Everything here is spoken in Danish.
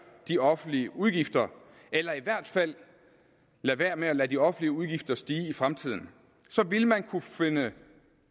de offentlige udgifter eller i hvert fald lader være med at lade de offentlige udgifter stige i fremtiden så ville man kunne finde